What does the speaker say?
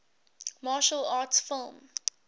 martial arts film